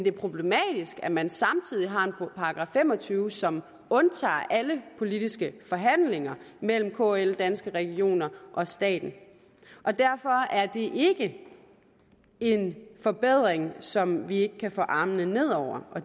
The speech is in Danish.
er problematisk at man samtidig har en § fem og tyve som undtager alle politiske forhandlinger mellem kl danske regioner og staten derfor er det ikke en forbedring som vi ikke kan få armene ned over og